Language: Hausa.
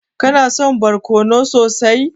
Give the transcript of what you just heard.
Kana son barkono sosai?